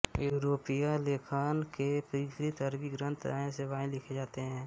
यूरोपीय लेखन के विपरीत अरबी ग्रंथ दाएं से बाएं लिखे जाते हैं